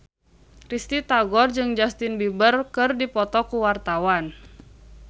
Risty Tagor jeung Justin Beiber keur dipoto ku wartawan